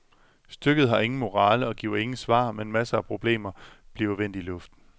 Stykket har ingen morale og giver ingen svar, men masser af problemer bliver vendt i luften.